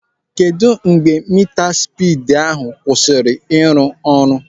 Kedụ mgbe mitaspidi ahụ kwụsịrị ịrụ ọrụ?